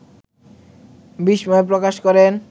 বিস্ময় প্রকাশ করেন